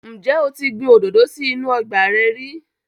Ǹjẹ́ o ti gbin òdòdó sí inú ọgbà rẹ rí?